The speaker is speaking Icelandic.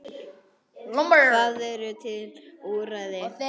Það eru til úrræði.